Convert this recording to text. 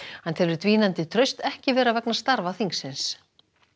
hann telur dvínandi traust ekki vera vegna starfa þingsins